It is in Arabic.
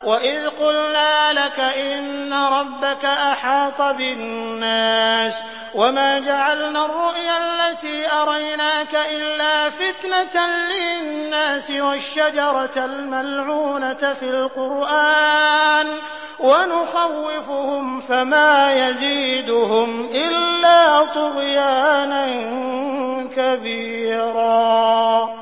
وَإِذْ قُلْنَا لَكَ إِنَّ رَبَّكَ أَحَاطَ بِالنَّاسِ ۚ وَمَا جَعَلْنَا الرُّؤْيَا الَّتِي أَرَيْنَاكَ إِلَّا فِتْنَةً لِّلنَّاسِ وَالشَّجَرَةَ الْمَلْعُونَةَ فِي الْقُرْآنِ ۚ وَنُخَوِّفُهُمْ فَمَا يَزِيدُهُمْ إِلَّا طُغْيَانًا كَبِيرًا